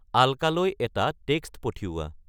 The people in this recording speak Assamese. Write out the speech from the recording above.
আল্কালৈ এটা টেক্স্ট পঠিওৱা